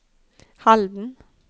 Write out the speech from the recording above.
Halden